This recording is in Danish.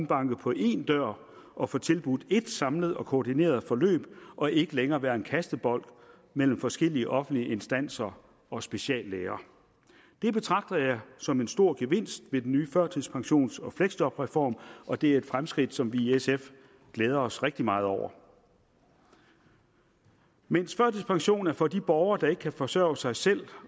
banke på én dør og få tilbudt ét samlet og koordineret forløb og ikke længere være kastebold mellem forskellige offentlige instanser og speciallæger det betragter jeg som en stor gevinst ved den nye førtidspensions og fleksjobreform og det er et fremskridt som vi i sf glæder os rigtig meget over mens førtidspension er for de borgere der ikke kan forsørge sig selv